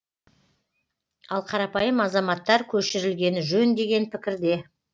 ал қарапайым азаматтар көшірілгені жөн деген пікірде